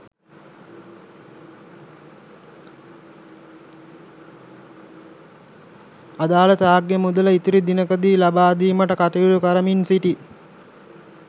අදාළ ත්‍යාග මුදල ඉදිරි දිනයකදී ලබාදීමට කටයුතු කරමින් සිටී.